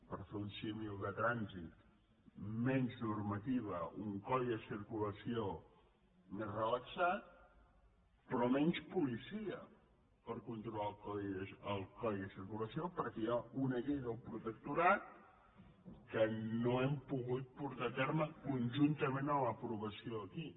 per fer un símil de tràn·sit menys normativa un codi de circulació més rela·xat però menys policia per controlar el codi de cir·culació perquè hi ha una llei del protectorat que no hem pogut portar a terme conjuntament amb l’aprova·ció aquí